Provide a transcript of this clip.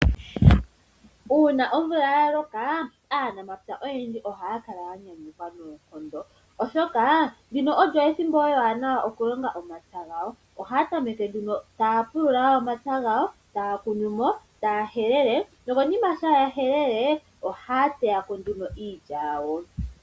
Uuna omvula ya loka aanamapya oyendji ohaya kala ya nyanyukwa noonkondo oshoka ndino olyo ethimbo ewanawa okulonga omapya gawo ohaya tameke nduno taya pulula omapya gawo etaya kunumo etaya helele nokonima shaa ya helele ohaya teyako nduno iilya yawo.